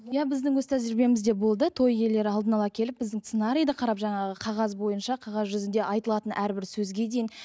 иә біздің өз тәжірибемізде болды той иелері алдын ала келіп біздің сценариді қарап жаңағы қағаз бойынша қағаз жүзінде айтылатын әрбір сөзге дейін